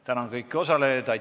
Tänan kõiki osalejaid!